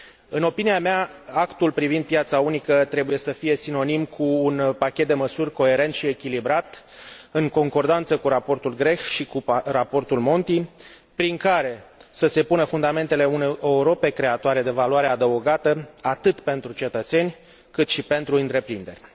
În opinia mea, Actul privind piața unică trebuie să fie sinonim cu un pachet de măsuri coerent și echilibrat, în concordanță cu Raportul Grech și cu Raportul Monti, prin care să se pună fundamentele unei Europe creatoare de valoare adăugată, atât pentru cetățeni, cât și pentru întreprinderi.